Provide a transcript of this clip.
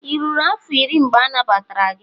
ị ruru afọ iri, mgbe anagbatara gị?